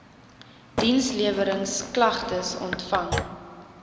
diensleweringsk lagtes ontvang